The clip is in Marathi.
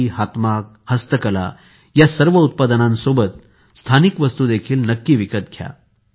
खादी हातमाग हस्तकला या सर्व उत्पादनांसोबत स्थानिक वस्तू देखील नक्की विकत घ्या